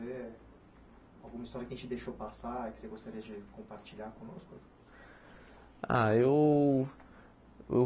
Eh alguma história que a gente deixou passar, e que você gostaria de compartilhar conosco? Ah eu eu